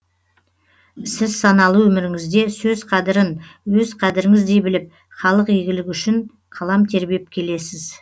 сіз саналы өміріңізде сөз қадірін өз қадіріңіздей біліп халық игілігі үшін қалам тербеп келесіз